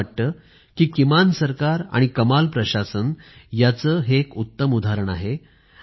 मला वाटते कि किमान सरकार आणि कमाल प्रशासन याचं हे एक उत्तम उदाहरण आहे